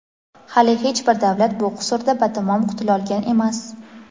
Hali hech bir davlat bu qusurda batamom qutulolgan emas.